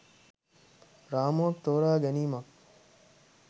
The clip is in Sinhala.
රාමුවක් තෝරා ගැනීමක්.